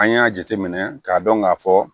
An y'a jateminɛ k'a dɔn k'a fɔ